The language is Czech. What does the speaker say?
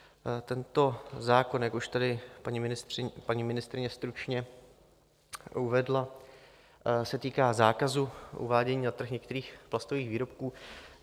Tento zákon, jak už tady paní ministryně stručně uvedla, se týká zákazu uvádění na trh některých plastových výrobků.